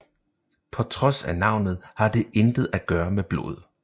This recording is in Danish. På trods af navnet har det intet at gøre med blod